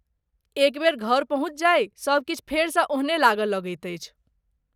एक बेर घर पहुँचि जाइ, सबकिछु फेरसँ ओहने लागय लगैत अछि।